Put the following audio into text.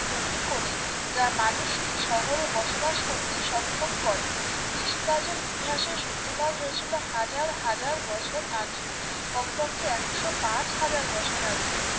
তৈরি করে যা মানুষকে শহরে বসবাস করতে সক্ষম করে কৃষিকার্যের ইতিহাসের সূত্রপাত হয়েছিল হাজার হাজার বছর আগে কমপক্ষে একশপাচ হাজার বছর আগে